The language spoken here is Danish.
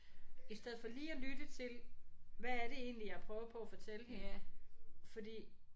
I stedet for lige at lytte til hvad er det egentlig jeg prøver på at fortælle hende fordi